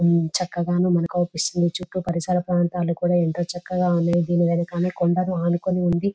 చక్కగాను మనకు అగుపిస్తుంది చుట్టూ పరిసర ప్రాంతాలు కూడా ఎంతో చక్కగా ఉన్నాయి దీని వెనకాల కొండను అనుకుని ఉంది.